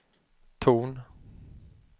ton